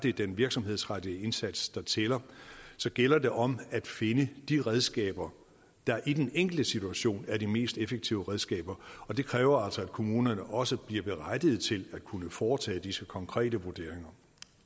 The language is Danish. er den virksomhedsrettede indsats der tæller så gælder det om at finde de redskaber der i den enkelte situation er de mest effektive redskaber og det kræver altså at kommunerne også bliver berettiget til at kunne foretage disse konkrete vurderinger